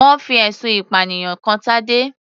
Wọ́n fi ẹ̀sùn ìpànìyàn kan Tadé.